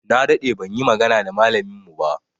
Na daɗe ban yi magana da malamin mu ba.